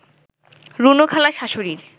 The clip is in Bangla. রুনু খালার শাশুড়ির